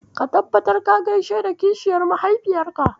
Ka tabbatar ka gaishe da kishiyar mahaifiyarka.